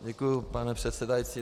Děkuji, pane předsedající.